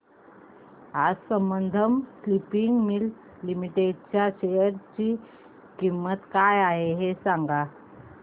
आज Sambandam spinning mills limited च्या share ची किंमत काय आहे हे सांगा